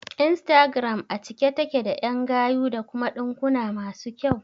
Instagram a cike take da ƴan gayu da kuma ɗinkuna masu kyau